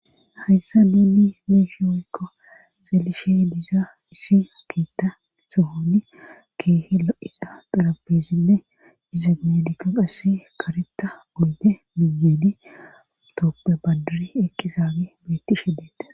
hayssa miinni meshi oykko xelishe diiza isi akita sohoni keehe lo7isa xarabezinne dizameedika qass karetta onde miyenitooppe badir ekkizaabe beettishedeta